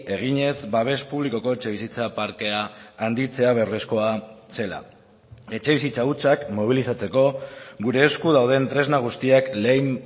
eginez babes publikoko etxebizitza parkea handitzea beharrezkoa zela etxebizitza hutsak mobilizatzeko gure esku dauden tresna guztiak lehen